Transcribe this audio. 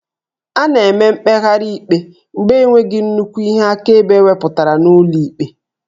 A na-eme mkpegharị ikpe mgbe enweghị nnukwu ihe akaebe ewepụtara n'ụlọ ikpe